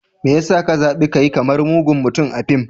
Me ya sa ka zabi ka yi kamar mugun mutum a fim?